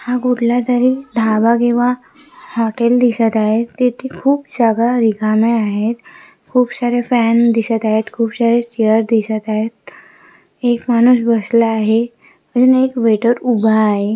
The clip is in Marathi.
हा कुठला तरी ढाबा किंवा हॉटेल दिसत आहे तिथे खूप जागा रीकाम्या आहेत खूप सारे फ्यान दिसत आहे खूप सारे चेअर दिसत आहेत एक माणूस बसला आहे तिथे एक वेटर उभा आहे.